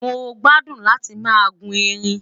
mọ gbádùn láti má guun ẹrín